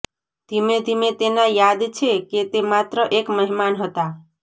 ધીમેધીમે તેના યાદ છે કે તે માત્ર એક મહેમાન હતા